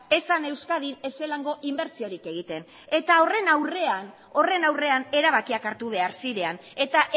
esan euskadin ez inbertsiorik egiten eta horren aurrean erabakiak hartu behar ziren eta